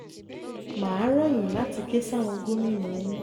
mà á rọ̀ yín láti ké sáwọn gómìnà yín